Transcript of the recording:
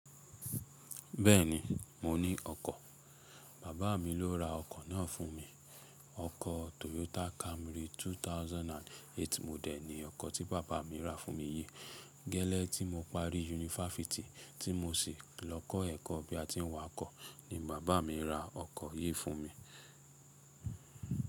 Bẹ́ẹ̀ni, mo ní ọkọ̀. Bàbá mi ló ra ọkọ̀ náà fún mi. Ọkọ̀ Toyota Camry 2008 model ni ọkọ̀ tí bàbá mi ra fún mi yìí. Gẹ́lẹ́ tí mo parí yunifásítì tí mo sì lọ kọ́ ẹ̀kọ́ bí a ti ń wà kọ́ ni bàbá mi ra ọkọ̀ yìí fún mi.